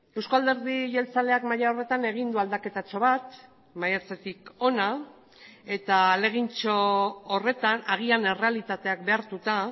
eusko alderdi jeltzaleak maila horretan egin du aldaketatxo bat maiatzetik hona eta ahalegintxo horretan agian errealitateak behartuta